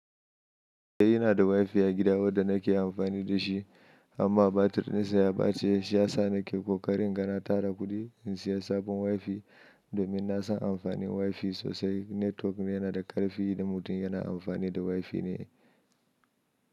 Eh ina da WiFi a gida wanda nake amfani da shi, amma batir ɗinsa ya ɓace, shi yasa nake ƙoƙarin inga na tara kuɗi in saya sabon WiFi domin na san amfanin WiFi sosai. Network yanada ƙarfi idan mutun yana anfani da WIFI ne.